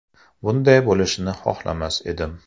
Bunday bo‘lishini xohlamas edim.